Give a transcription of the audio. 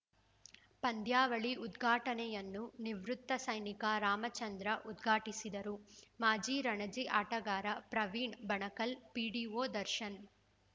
ಪಂದ್ಯಾವಳಿ ಉದ್ಘಾಟನೆಯನ್ನು ನಿವೃತ್ತ ಸೈನಿಕ ರಾಮಚಂದ್ರ ಉದ್ಘಾಟಿಸಿದರು ಮಾಜಿ ರಣಜಿ ಆಟಗಾರ ಪ್ರವೀಣ್‌ ಬಣಕಲ್‌ ಪಿಡಿಒ ದರ್ಶನ್‌